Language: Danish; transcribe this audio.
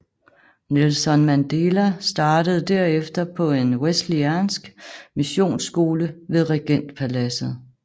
Nelson Mandela startede derefter på en wesleyansk missionsskole ved regentpaladset